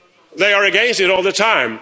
They are against it all the time.